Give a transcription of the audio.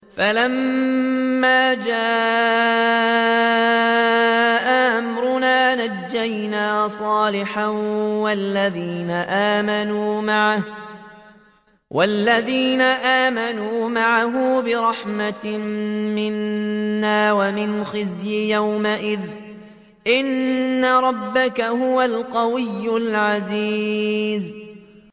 فَلَمَّا جَاءَ أَمْرُنَا نَجَّيْنَا صَالِحًا وَالَّذِينَ آمَنُوا مَعَهُ بِرَحْمَةٍ مِّنَّا وَمِنْ خِزْيِ يَوْمِئِذٍ ۗ إِنَّ رَبَّكَ هُوَ الْقَوِيُّ الْعَزِيزُ